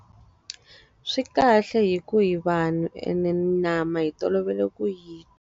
Swi kahle hikuva hi vanhu ene nyama hi tolovele ku yi.